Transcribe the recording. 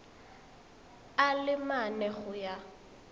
a le mane go ya